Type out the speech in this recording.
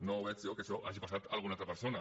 no veig jo que això hagi passat a alguna altra persona